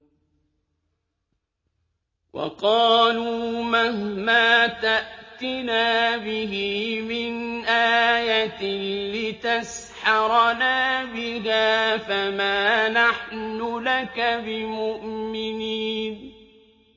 وَقَالُوا مَهْمَا تَأْتِنَا بِهِ مِنْ آيَةٍ لِّتَسْحَرَنَا بِهَا فَمَا نَحْنُ لَكَ بِمُؤْمِنِينَ